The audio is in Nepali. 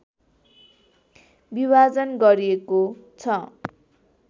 विभाजन गरिएको छ